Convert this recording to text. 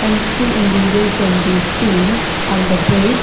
And three individuals can be seen on the bridge .